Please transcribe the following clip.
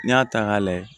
N'i y'a ta k'a layɛ